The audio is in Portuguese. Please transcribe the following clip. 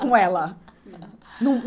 Com ela.